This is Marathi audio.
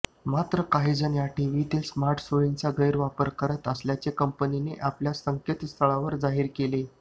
मात्र काहीजण या टीव्हीतील स्मार्टसोयींचा गैरवापर करत असल्याचे कंपनीने आपल्या संकेतस्थळावर जाहीर केले आहे